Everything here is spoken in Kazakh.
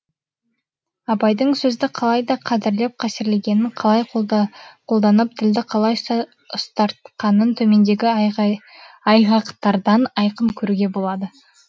абайдың сөзді қалай да қадірлеп қастерлегенін қалай қолданып тілді қалай ұстартқанын төмендегі айғақтардан айқын көруге болады